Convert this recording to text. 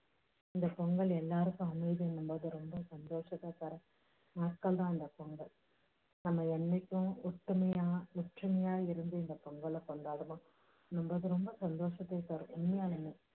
இந்த பொங்கல் எல்லாருக்கும் அமைதியையும் ரொம்ப சந்தோஷத்தையும் தரும் நாட்கள் தான் அந்த பொங்கல் நம்ம என்னைக்கும் ஒத்துமையா ஒற்றுமையா இருந்து இந்த பொங்கலை கொண்டாடணும். நம்மளுக்கு ரொம்ப சந்தோஷத்தை தரும். உண்மையாலுமே